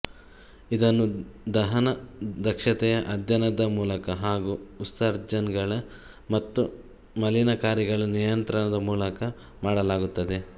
ಇದನ್ನು ದಹನದ ದಕ್ಷತೆಯ ಅಧ್ಯಯನದ ಮೂಲಕ ಹಾಗು ಉತ್ಸರ್ಜನಗಳ ಮತ್ತು ಮಲೀನಕಾರಿಗಳ ನಿಯಂತ್ರಣದ ಮೂಲಕ ಮಾಡಲಾಗುತ್ತದೆ